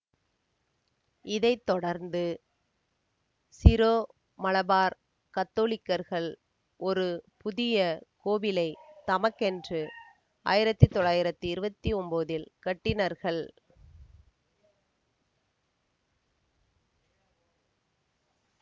இதை தொடர்ந்து சீரோமலபார் கத்தோலிக்கர்கள் ஒரு புதிய கோவிலைத் தமக்கென்று ஆயிரத்தி தொள்ளாயிரத்தி இருபத்தி ஒம்போதில் கட்டினர்கள்